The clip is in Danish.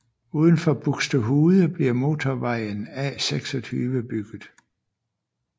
Uden for Buxtehude bliver motorvejen A26 bygget